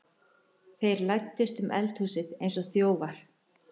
Þeir læddust um eldhúsið eins og þjófar.